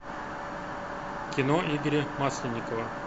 кино игоря масленникова